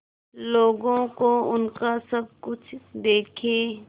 लोगों को उनका सब कुछ देके